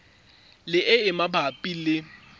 le e e mabapi le